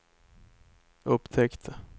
upptäckte